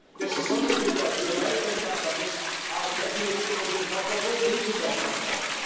This is only because the American companies are definitely on top of all digital companies.